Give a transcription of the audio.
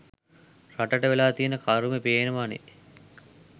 රටට වෙලා තියෙන කරුමේ පේනවනේ